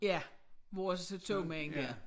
Ja vores togmand dér